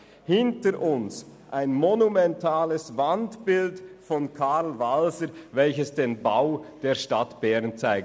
Hinter uns steht ein monumentales Wandbild von Karl Walser, welches den Bau der Stadt Bern zeigt.